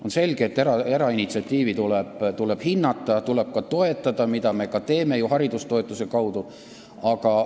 On selge, et erainitsiatiivi tuleb hinnata, tuleb toetada, mida me haridustoetuse kaudu ju ka teeme.